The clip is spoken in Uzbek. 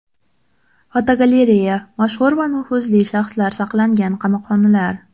Fotogalereya: Mashhur va nufuzli shaxslar saqlangan qamoqxonalar.